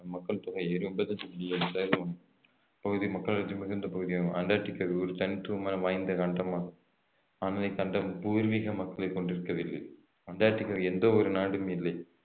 மக்கள் தொகை இருபது புள்ளி பகுதி மக்களடர்த்தி மிகுந்த பகுதியாகும் அண்டார்டிகா ஒரு தனித்துவமான வாய்ந்த கண்டமாகும் ஆனால் இக்கண்டம் பூர்வீக மக்களை கொண்டிருக்கவில்லைஅண்டார்டிகாவில் எந்த ஒரு நாடும் இல்லை